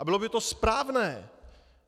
A bylo by to správné!